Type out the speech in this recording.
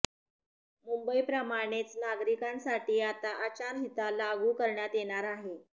मुंबई प्रमाणेच नागरिकांसाठी आता आचारंहिता लागू करण्यात येणार आहे